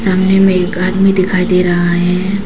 सामने में एक आदमी दिखाई दे रहा है।